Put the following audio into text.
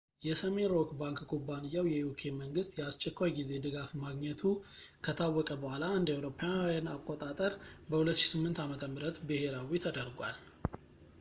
የሰሜን ሮክ ባንክ ኩባንያው የuk መንግሥት የአስቸኳይ ጊዜ ድጋፍ ማግኘቱ ከታወቀ በኋላ እ.ኤ.አ. በ 2008 ዓ.ም ብሄራዊ ተደርጓል